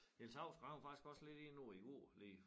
Niels Hausgaard han var faktisk også lidt inde på det i går lige